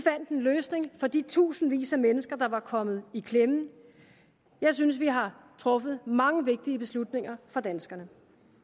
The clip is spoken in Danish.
en løsning for de tusindvis af mennesker der var kommet i klemme jeg synes vi har truffet mange vigtige beslutninger for danskerne